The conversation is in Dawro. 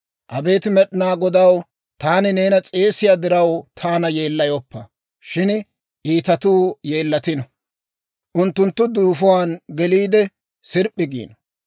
Abeet Med'inaa Godaw, taani neena s'eesiyaa diraw taana yeellayoppa. Shin iitatuu yeellatino; unttunttu duufuwaan geliide, sirp'p'i giino.